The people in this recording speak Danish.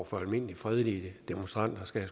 for almindelige fredelige demonstranter skal